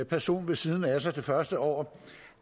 person ved siden af sig det første år